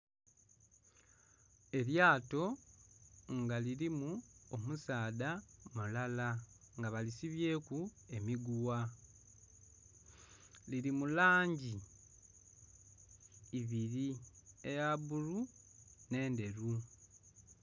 Elyato nga lirimu omusaadha mulala nga balisibyeku emiguwa liri mulangi ibiri eyabbulu n'endheru.